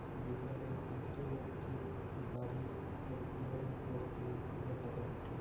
যেখানে একটি লোককে গাড়ির রিপেয়ারিং করতে দেখা যাচ্ছে।